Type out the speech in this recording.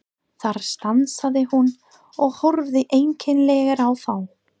Þar stansaði hún og horfði einkennilega á þá.